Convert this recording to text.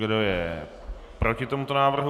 Kdo je proti tomuto návrhu?